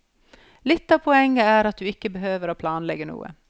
Litt av poenget er at du ikke behøver å planlegge noe.